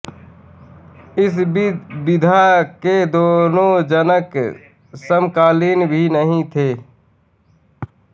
इस विधा के दोनों जनक समकालीन भी नहीं थे